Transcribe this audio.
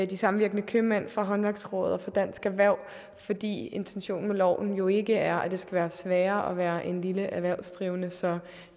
de samvirkende købmænd fra håndværksrådet og fra dansk erhverv fordi intentionen med loven jo ikke er at det skal være sværere at være en lille erhvervsdrivende så